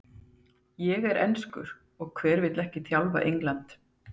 Ég er enskur og hver vill ekki þjálfa England?